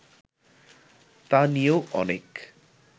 তা নিয়েও অনেক